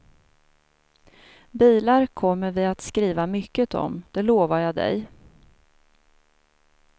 Bilar kommer vi att skriva mycket om, det lovar jag dig.